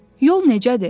Yol necədir?